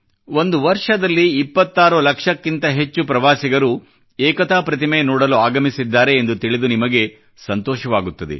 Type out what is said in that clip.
ಒಂದು ವರ್ಷದಲ್ಲಿ 26 ಲಕ್ಷಕ್ಕಿಂತ ಹೆಚ್ಚು ಪ್ರವಾಸಿಗರು ಏಕತಾ ಪ್ರತಿಮೆ ನೋಡಲು ಆಗಮಿಸಿದ್ದಾರೆ ಎಂದು ತಿಳಿದು ನಿಮಗೆ ಸಂತೋಷವಾಗುತ್ತದೆ